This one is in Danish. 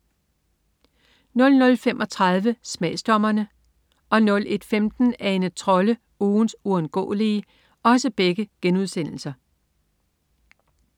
00.35 Smagsdommerne* 01.15 Ane Trolle, ugens uundgåelige*